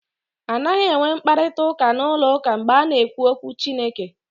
A naghị enwe mkparịta ụka n'ụlọ ụka mgbe a na-ekwu okwu Chineke.